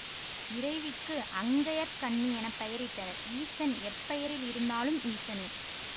இறைவிக்கு அங்கயற்கண்ணி என பெயரிட்டனர் ஈசன் எப்பெயரில் இருந்தாலும் ஈசனே